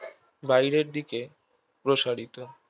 বাইরের দিকে প্রসারিত